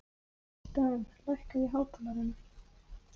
Dan, lækkaðu í hátalaranum.